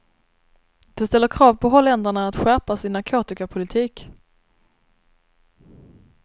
Det ställer krav på holländarna att skärpa sin narkotikapolitik.